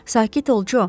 Sakit ol, Co.